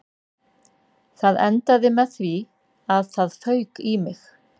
Þetta endaði með því að það fauk í mig